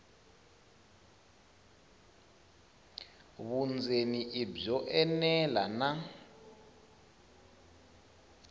vundzeni i byo enela na